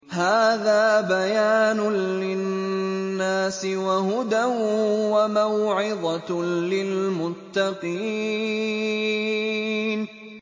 هَٰذَا بَيَانٌ لِّلنَّاسِ وَهُدًى وَمَوْعِظَةٌ لِّلْمُتَّقِينَ